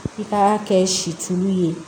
I ka kɛ silu ye